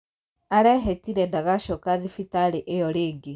Arehītire ndagacoka thibitarī īyo rīngī